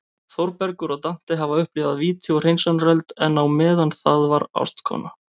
Þórbergur og Dante hafa upplifað víti og hreinsunareld, en á meðan það var ástkona